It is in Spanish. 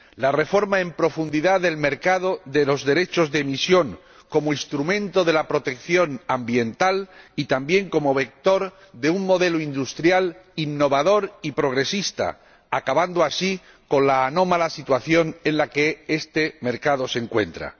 la reforma en profundidad del mercado de los derechos de emisión, como instrumento de la protección ambiental y también como vector de un modelo industrial innovador y progresista, acabando así con la anómala situación en la que este mercado se encuentra